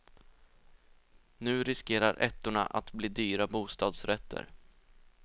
Nu riskerar ettorna att bli dyra bostadsrätter.